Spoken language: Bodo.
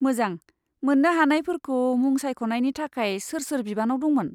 मोजां, मोन्नो हानायफोरखौ मुं सायख'नायनि थाखाय सोर सोर बिबानाव दंमोन?